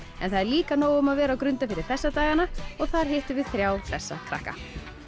en það er líka nóg um að vera á Grundarfirði þessa dagana og þar hittum við þrjá hressa krakka